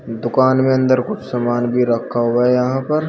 दुकान में अंदर कुछ सामान भी रखा हुआ है यहां पर।